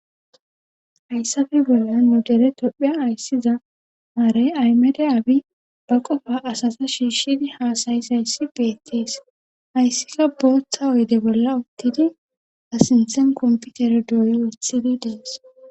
Ayssafe bolla nu dere topheya ayssiza maarey aymede abi ba qofa asasa shiishshidi haasayis hayssi beettees hayssika booththa oyde bolla uttidi a sinsen komputere dooy wothidi dees